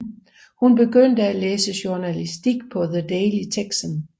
Hun begyndte at læse journalistik på The Daily Texan